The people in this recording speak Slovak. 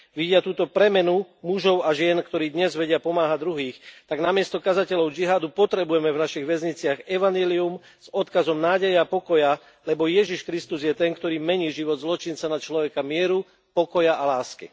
Vidia túto premenu mužov a žien, ktorí dnes vedia pomáhať druhým, tak namiesto kazateľov džihádu potrebujeme v našich väzniciach evanjelium s odkazom nádeje a pokoja, lebo Ježiš Kristus je ten, ktorý mení život zločinca na človeka mieru, pokoja a lásky.